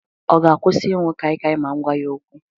Ọ ga-akwụsị ịṅụ kaikai ma m gwa ya okwu?